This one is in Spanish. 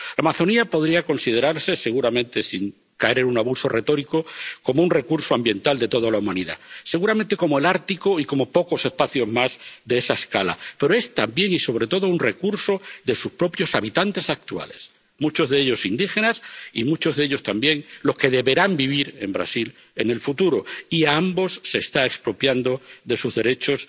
La Amazonía podría considerarse, seguramente sin caer en un abuso retórico, como un recurso ambiental de toda la humanidad —seguramente como el Ártico y como pocos espacios más de esa escala—, pero es también y sobre todo un recurso de sus propios habitantes actuales, muchos de ellos indígenas y muchos de ellos también los que deberán vivir en Brasil en el futuro, y a ambos se les están expropiando sus derechos